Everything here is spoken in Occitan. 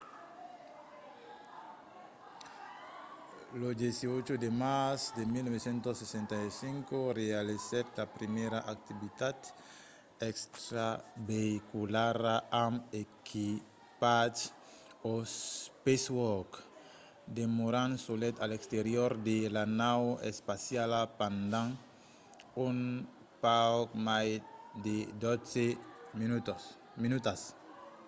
lo 18 de març de 1965 realizèt la primièra activitat extraveïculara amb equipatge eva o spacewalk demorant solet a l'exterior de la nau espaciala pendent un pauc mai de dotze minutas